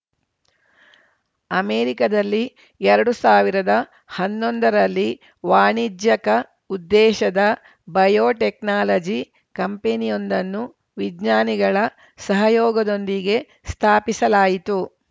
ಅಮೆರಿಕದಲ್ಲಿ ಎರಡು ಸಾವಿರದ ಹನ್ನೊಂದರಲ್ಲಿ ವಾಣಿಜ್ಯಕ ಉದ್ದೇಶದ ಬಯೋಟೆಕ್ನಾಲಜಿ ಕಂಪೆನಿಯೊಂದನ್ನು ವಿಜ್ಞಾನಿಗಳ ಸಹಯೋಗದೊಂದಿಗೆ ಸ್ಥಾಪಿಸಲಾಯಿತು